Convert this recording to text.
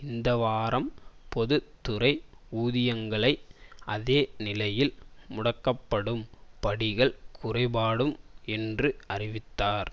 இந்த வாரம் பொது துறை ஊதியங்கள் அதே நிலையில் முடக்கப்படும் படிகள் குறைக்க படும் என்று அறிவித்தார்